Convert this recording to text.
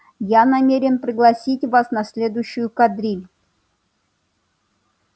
я намерен пригласить вас на следующую кадриль